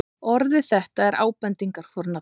orðið þetta er ábendingarfornafn